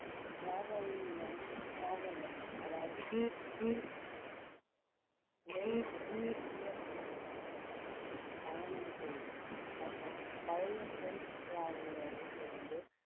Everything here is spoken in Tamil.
அதாவது பயணம் செய்தல் மற்றும் பழைய french traveler ல் இருந்து